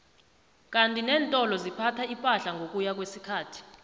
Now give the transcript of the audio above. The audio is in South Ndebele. kandi nentolo ziphatha ipahla ngokuya kwesikhathi